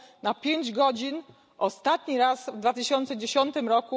przez pięć godzin, ostatni raz w 2010 r.